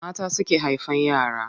Mata suke haifan yara.